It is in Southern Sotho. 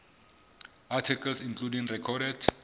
articles including recorded